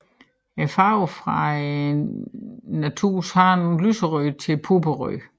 Farven er fra naturens hånd lyserød til purpurrød